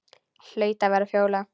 Hlaut að vera Fjóla.